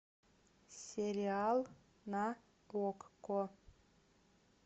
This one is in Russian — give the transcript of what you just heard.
сериал на окко